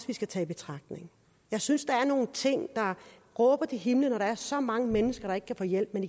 vi skal tage i betragtning jeg synes der er nogle ting der råber til himlen når der er så mange mennesker der ikke kan få hjælp men